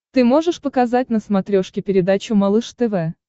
ты можешь показать на смотрешке передачу малыш тв